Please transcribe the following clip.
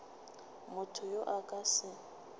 motho yo a ka se